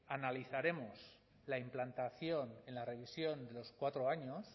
analizaremos la implantación en la revisión de los cuatro años